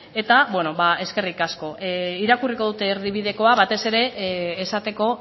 eta eskerrik asko irakurriko dut erdibidekoa batez ere esateko